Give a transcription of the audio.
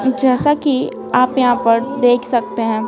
जैसा कि आप यहां पर देख सकते हैं।